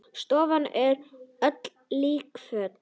Stofan er öll líkföl.